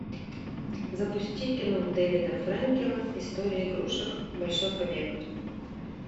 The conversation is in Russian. запусти кино дэвида фрэнкела история игрушек большой побег